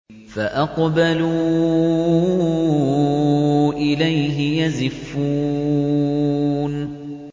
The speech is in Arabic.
فَأَقْبَلُوا إِلَيْهِ يَزِفُّونَ